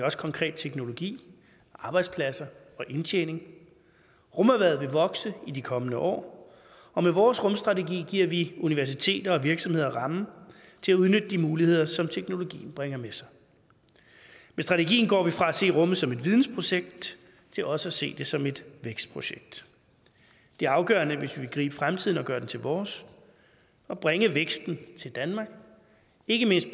også konkret teknologi arbejdspladser og indtjening rumerhvervet vil vokse i de kommende år og med vores rumstrategi giver vi universiteter og virksomheder rammen til at udnytte de muligheder som teknologien bringer med sig med strategien går vi fra at se rummet som et vidensprojekt til også at se det som et vækstprojekt det er afgørende hvis vi vil gribe fremtiden og gøre den til vores at bringe væksten til danmark ikke mindst